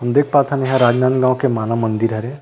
देख पाथन इहाँ राजनंदगांव के मानव मन्दिर हरे।